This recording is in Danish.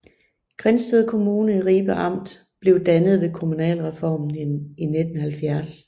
Grindsted Kommune i Ribe Amt blev dannet ved kommunalreformen i 1970